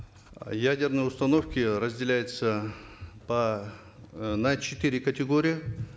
ядерные установки разделяются по э на четыре категории